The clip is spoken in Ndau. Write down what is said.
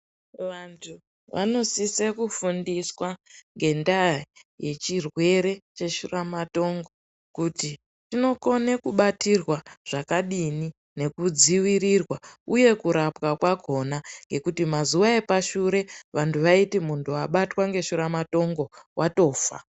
Vantu vanosisa kufundiswa ngendaa yechirwere cheshuramatongo kuti chinokona kubatwa zvakadini nekudzvirirwa uye kurapwa kwakona ngekuti mazuwa epashure waiti muntu wabatwa ngeshuramatongo watofa.